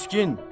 Miskin.